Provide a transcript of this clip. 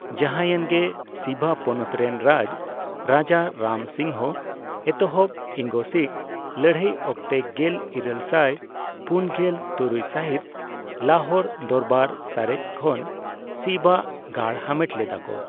ᱡᱟᱦᱟᱭᱮᱱ ᱜᱮ, ᱥᱤᱵᱟ ᱯᱚᱱᱚᱛ ᱨᱮᱱ ᱨᱟᱡᱽ ᱨᱟᱡᱟ ᱨᱟᱢ ᱥᱤᱝᱦᱚ ᱮᱛᱚᱦᱚᱵ ᱤᱝᱜᱚᱼᱥᱤᱠ ᱞᱟᱹᱨᱦᱟᱹᱭ ᱚᱠᱛᱮ ᱜᱮᱞ ᱤᱨᱟᱹᱞ ᱥᱟᱭ ᱯᱩᱱᱜᱮᱞ ᱛᱩᱨᱩᱭ ᱥᱟᱹᱦᱤᱛ ᱞᱟᱦᱳᱨ ᱫᱚᱨᱵᱟᱨ ᱥᱟᱨᱮᱪ ᱠᱷᱚᱱ ᱥᱤᱵᱼᱟᱜ ᱜᱟᱲ ᱦᱟᱢᱮᱴ ᱞᱮᱫᱟ ᱠᱚ ᱾